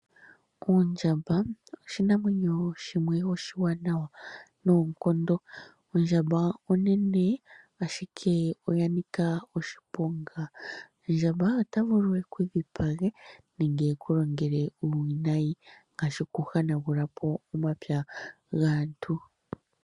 Ondjamba oshinamwenyo oshiwanawa noonkondo. Ondjamba onene na oya nika oshiponga, ndjamba ota vulu eku dhipage nenge eku longele uuwinayi ngashi oku hanagulapo omapya gaantu